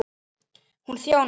Hann kom að frú